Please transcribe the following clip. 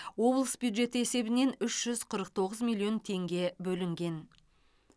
облыс бюджеті есебінен үш жүз қырық тоғыз миллион теңге бөлінген